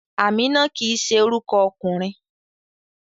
Amina kii se oruko okunrin